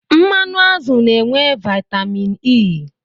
Mmanụ azụ na-enwe vaitamin E.